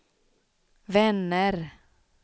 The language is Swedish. vänner